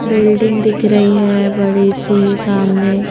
building दिख रही है बड़ी सी सामने--